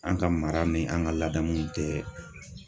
An ka mara ni an ka ladamu tɛ.